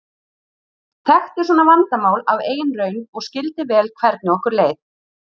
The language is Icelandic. Þekkti svona vandamál af eigin raun og skildi vel hvernig okkur leið.